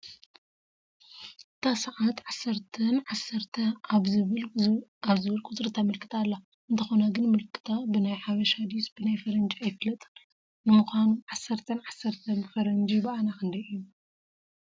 እታ ሰዓት 10፡10 ኣብ ዝብል ዝብል ቁፅሪ ተመልክት ኣላ፡፡ እንተኾነ ግን ምልከትኣ ብናይ ሓበሻ ድዩስ ብናይ ፈረንጂ ኣይፍለጥን፡፡ ንምኳኑ 10፡10 ብፈረንጂ ብኣና ክንደይ እዩ?